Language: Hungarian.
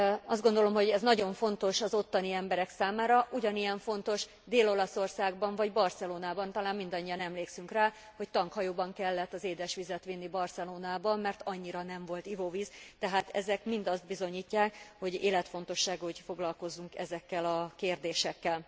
Azt gondolom, hogy ez nagyon fontos az ottani emberek számára, ugyanilyen fontos Dél Olaszországban vagy Barcelonában talán mindannyian emlékszünk rá, hogy tankhajóban kellett az édesvizet vinni Barcelonába, mert annyira nem volt ivóvíz tehát ezek mind azt bizonyítják, hogy életfontosságú, hogy foglalkozzunk ezekkel a kérdésekkel.